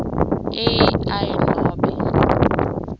a i nobe